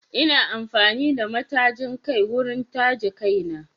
Ina amfani da matajin kai wurin taje kaina